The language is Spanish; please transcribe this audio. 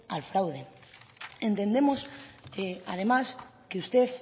al fraude entendemos además que usted